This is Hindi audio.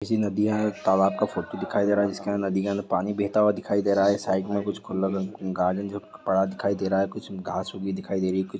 किसी नदिया या तालाब का फोटो दिखाई दे रहा है नदियों का पानी बहता हुआ दिखाई दे रहा है साइड में कुछ दिखाई दे रही हैं।